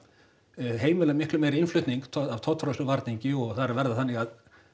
heimila miklu meiri innflutning af tollfrjálsum varningi og það er að verða þannig að